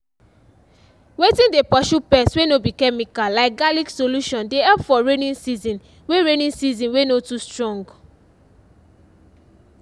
wetin dey purshu pest wey no be chemical like garlic solution dey help for raining season wey raining season wey no too strong